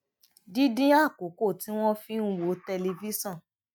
dídín àkókò tí wón fi ń wo tẹlifíṣòn